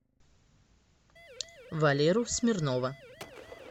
валеру смирнова